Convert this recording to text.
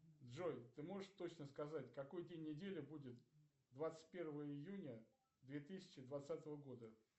джой ты можешь точно сказать какой день недели будет двадцать первого июня две тысячи двадцатого года